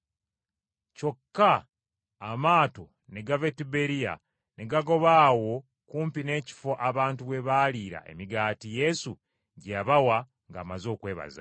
Kyokka amaato ne gava e Tiberiya ne gagoba awo kumpi n’ekifo abantu we baaliira emigaati Yesu gye yabawa ng’amaze okwebaza.